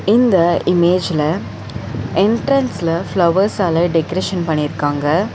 இந்த இமேஜ்ல என்ட்ரன்ஸ்ல ஃப்ளவர்ஸால டெக்ரேஷன் பண்ணிருக்காங்க.